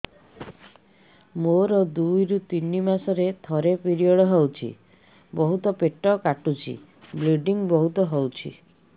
ମୋର ଦୁଇରୁ ତିନି ମାସରେ ଥରେ ପିରିଅଡ଼ ହଉଛି ବହୁତ ପେଟ କାଟୁଛି ବ୍ଲିଡ଼ିଙ୍ଗ ବହୁତ ହଉଛି